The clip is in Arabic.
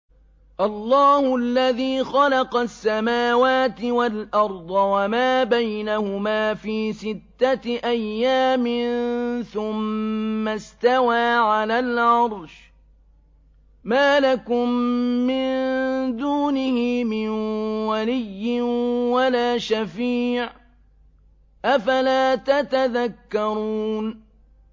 اللَّهُ الَّذِي خَلَقَ السَّمَاوَاتِ وَالْأَرْضَ وَمَا بَيْنَهُمَا فِي سِتَّةِ أَيَّامٍ ثُمَّ اسْتَوَىٰ عَلَى الْعَرْشِ ۖ مَا لَكُم مِّن دُونِهِ مِن وَلِيٍّ وَلَا شَفِيعٍ ۚ أَفَلَا تَتَذَكَّرُونَ